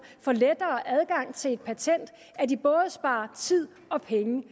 får lettere adgang til et patent at de både sparer tid og penge